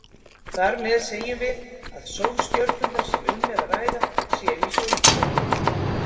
Þar með segjum við að sólstjörnurnar sem um er að ræða séu í sólkerfi.